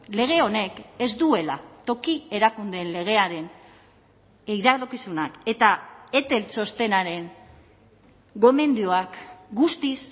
lege honek ez duela toki erakundeen legearen iradokizunak eta etel txostenaren gomendioak guztiz